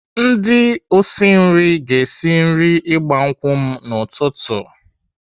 Ndị osi nri ga-esi nri ịgba nkwụ m n'ụtụtụ.